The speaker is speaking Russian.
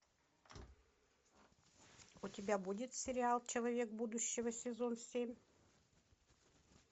у тебя будет сериал человек будущего сезон семь